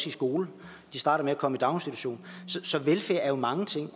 i skole de starter med at komme i daginstitution så velfærd er jo mange ting